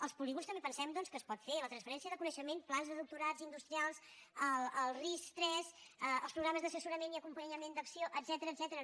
als polígons també pensem doncs que es pot fer la transferència de coneixement plans de doctorat industrial el ris3 els programes d’assessorament i acompanyament d’acc1ó etcètera